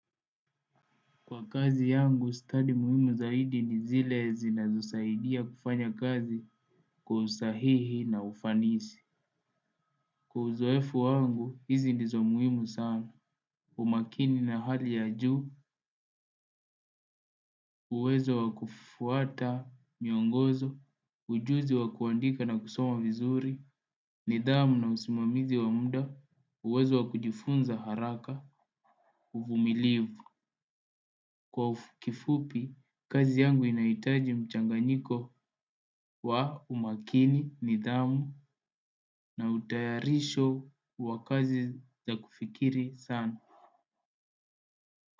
Kwa kazi yangu, stadi muhimu zaidi ni zile zinazosaidia kufanya kazi kwa usahihi na ufanisi. Kwa uzoefu wangu, hizi ndizo muhimu sana. Umakini na hali ya juu, uwezo wa kufuata, miongozo, ujuzi wa kuandika na kusoma vizuri, nidhamu na usimamizi wa muda, uwezo wa kujifunza haraka, uvumilivu. Kwa kifupi, kazi yangu inahitaji mchanganyiko wa umakini, nidhamu na utayarisho wa kazi za kufikiri sana.